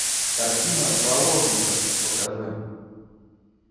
картина в заложниках покажи